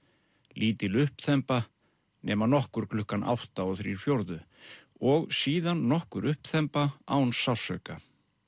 lítil uppþemba nema nokkur klukkan átta þrjá fjórðu og síðan nokkur uppþemba án sársauka